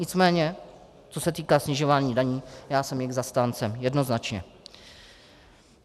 Nicméně co se týká snižování daní, já jsem jejich zastáncem jednoznačně.